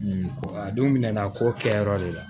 a don minɛn na k'o kɛ yɔrɔ de la